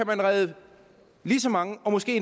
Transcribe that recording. man redde lige så mange og